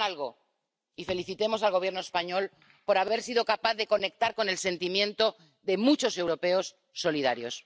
Hagan algo, y felicitemos al Gobierno español por haber sido capaz de conectar con el sentimiento de muchos europeos solidarios.